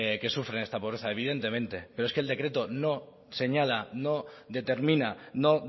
que sufren esta pobreza evidentemente pero es que el decreto no señala no determina no